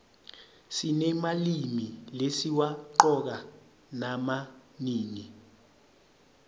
sinemalimi lesiwaqcoka nama nini